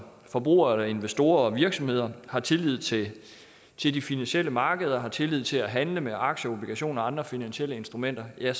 forbrugere eller investorer og virksomheder har tillid til de finansielle markeder og har tillid til at handle med aktier og obligationer og andre finansielle instrumenter ja